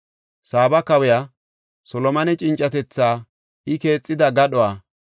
Saaba kawiya Solomone cincatetha, I keexida gadhuwa,